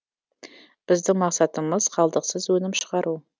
біздің мақсатымыз қалдықсыз өнім шығару